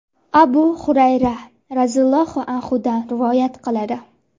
Abu Hurayra roziyallohu anhudan rivoyat qilinadi.